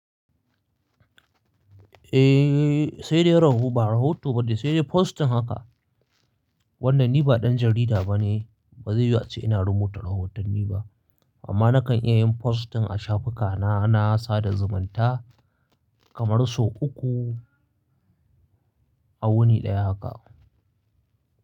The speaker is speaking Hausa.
Eh, sai dai raho ba rahoto ba ne, sai dai postin haka. Wannan ni ba ɗan jarida ba ne, ba zai yiwu ace ina rubuta rahotanni ba. Amma na kan iya yin postin a shafuka na, na sada zumunta, kamar so uku a wuni ɗaya haka.